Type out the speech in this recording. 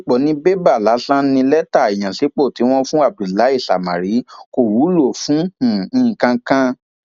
um òyédèpọ ni bébà lásán ní lẹtà ìyànsípò tí wọn fún abdullahi samárì kò wúlò fún um nǹkan kan